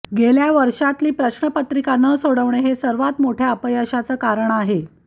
गेल्या वर्षातली प्रश्नपत्रिका न सोडवणं हे सर्वात मोठ्या अपयशाचं कारण आहे